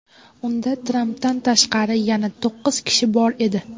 Unda, Trampdan tashqari, yana to‘qqiz kishi bor edi.